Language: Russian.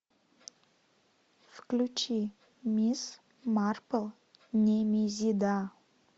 включи мисс марпл немезида